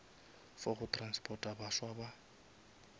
for go transporta baswa ba